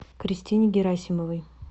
кристине герасимовой